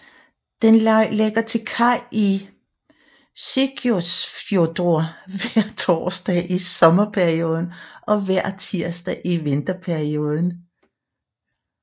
Den lægger til kaj i Seyðisfjörður hver torsdag i sommerperioden og hver tirsdag i vinterperioden